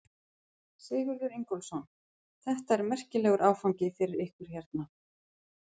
Sigurður Ingólfsson: Þetta er merkilegur áfangi fyrir ykkur hérna?